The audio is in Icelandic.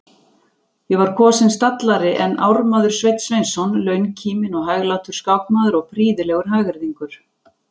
Ég var kosinn stallari en ármaður Sveinn Sveinsson, launkíminn og hæglátur skákmaður og prýðilegur hagyrðingur.